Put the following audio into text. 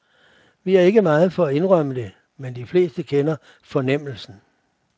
Vi er ikke meget for at indrømme det, men de fleste kender fornemmelsen.